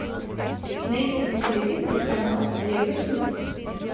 найти на телевизоре канал евро ньюс